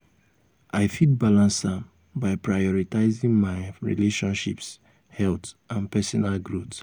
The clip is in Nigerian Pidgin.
i fit balance am by prioritizing um my um relationships health and personal um growth.